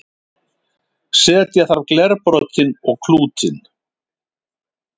setja þarf glerbrotin og klútinn